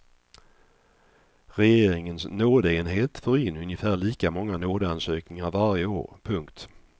Regeringens nådeenhet får in ungefär lika många nådeansökningar varje år. punkt